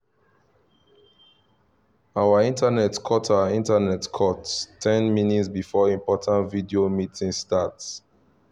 our internet cut our internet cut ten minutes before important video meeting start